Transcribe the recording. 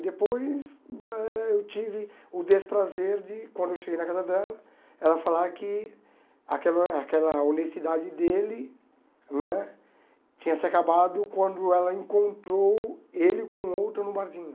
E depois eh eu tive o desprazer de, quando eu cheguei na casa dela, ela falar que aquela aquela honestidade dele né tinha se acabado quando ela encontrou ele com outra no barzinho.